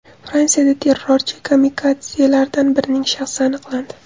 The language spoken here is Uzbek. Fransiyada terrorchi-kamikadzelardan birining shaxsi aniqlandi.